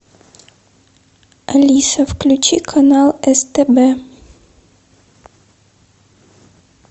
алиса включи канал стб